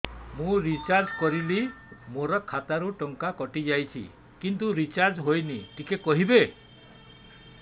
ମୁ ରିଚାର୍ଜ କରିଲି ମୋର ଖାତା ରୁ ଟଙ୍କା କଟି ଯାଇଛି କିନ୍ତୁ ରିଚାର୍ଜ ହେଇନି ଟିକେ କହିବେ